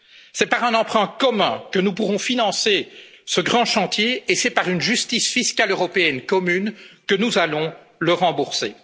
ses besoins. C'est par un emprunt commun que nous pourrons financer ce grand chantier et c'est par une justice fiscale européenne commune que nous allons